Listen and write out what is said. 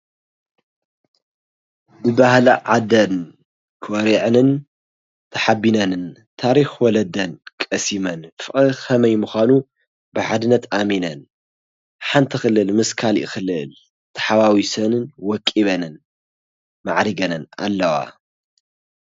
ብባህሊ ዓደን ኾሪዐንን ተሓቢነንን ታሪክ ወለደን ቀሲመን፣ ፍቅሪ ከመይ ምኻኑ ብሓድነት ኣሚነን፣ ሓንቲ ክልል ምስ ካሊእ ክልል ተሓዋዊሰንን ወቂበንን ማዕሪገንን ኣለዋ።